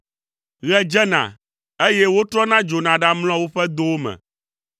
Ɣe dzena, eye wotrɔna dzona ɖamlɔa woƒe dowo me.